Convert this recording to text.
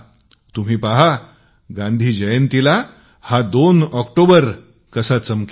तुम्ही पहा गांधी जयंतीला ही 2 ऑक्टोबर संकल्पना कशी चमकेल